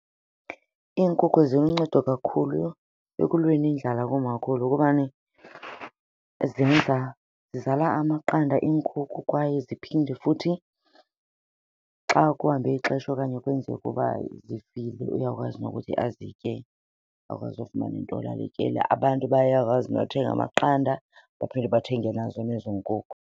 Iinkukhu ziluncedo kakhulu ekulweni indlala kumakhulu kubani zenza, zizala amaqanda iinkukhu kwaye ziphinde futhi xa kuhambe ixesha okanye kwenzeke uba zifile uyakwazi nokuthi azitye akwazi ufumana into yolala etyile. Abantu bayakwazi nothenga amaqanda baphinde bathenge nazo nezo nkukhu.